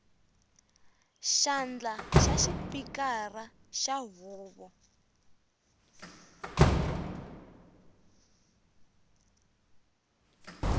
xandla xa xipikara xa huvo